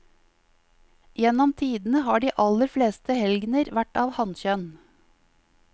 Gjennom tidene har de aller fleste helgener vært av hankjønn.